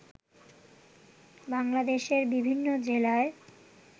বাংলাদেশের বিভিন্ন জেলায়